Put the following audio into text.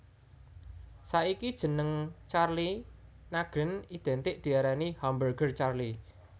Saiki jeneng Charlie Nagreen identik diarani Hamburger Charlie